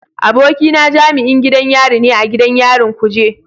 Abokina jami'in gidan yari ne a gidan yarin kuje.